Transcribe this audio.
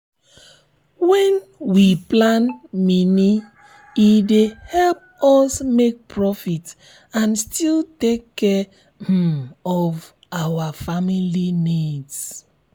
wen we plan mini e dey help us make profit and still take care um of our family needs. um